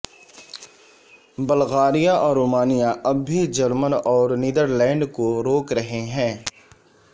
اور بلغاریہ اور رومانیہ اب بھی جرمن اور نیدرلینڈ کو روک رہے ہیں